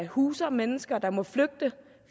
huser mennesker der må flygte